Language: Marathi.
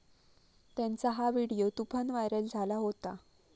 त्यांचा हा व्हिडीओ तुफान व्हायरल झाला होता.